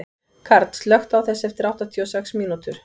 Karl, slökktu á þessu eftir áttatíu og sex mínútur.